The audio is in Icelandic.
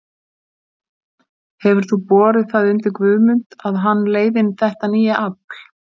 Lóa: Hefur þú borið það undir Guðmund að hann leiði þetta nýja afl?